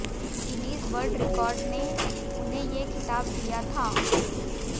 Guinness world record ने उन्हें ये खिताब दिया था